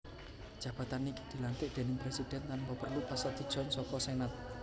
Jabatan iki dilantik déning Presidhèn tanpa perlu pasetujon saka Senat